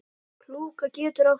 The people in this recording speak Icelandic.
Klúka getur átt við